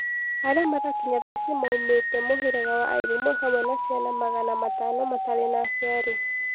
Arĩa marakinya thaici maumetĩ mũherega wa airimo hamwe na ciana magana matano matari na aciari